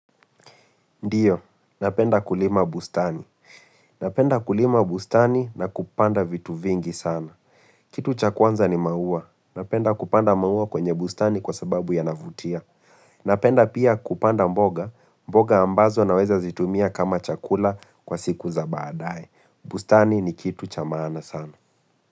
Ndiyo, napenda kulima bustani. Napenda kulima bustani na kupanda vitu vingi sana. Kitu cha kwanza ni maua. Napenda kupanda maua kwenye bustani kwa sababu yanavutia. Napenda pia kupanda mboga. Mboga ambazo naweza zitumia kama chakula kwa siku za baadae. Bustani ni kitu cha maana sana.